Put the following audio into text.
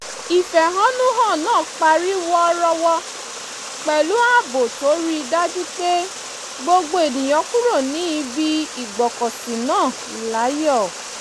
ìfẹ̀hónùhàn náà parí wọ́rọ́wọ́ pẹ̀lú ààbò tó rí i dájú pé gbogbo ènìyàn kúrò ní ibi ìgbọ́kọ̀sí náà láyọ̀